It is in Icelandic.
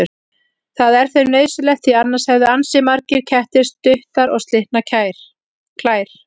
Það er þeim nauðsynlegt því annars hefðu ansi margir kettir stuttar og slitnar klær.